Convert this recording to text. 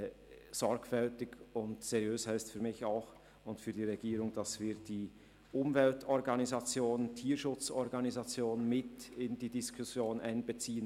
Sorgfältig und seriös heisst für mich und die Regierung auch, dass wir die Umwelt- und Tierschutzorganisationen in die Diskussion einbeziehen.